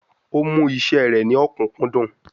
Ó mú iṣẹ́ rẹ̀ ní ọ̀kúnkúndùn